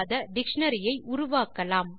dictionary ஐ உருவாக்கலாம்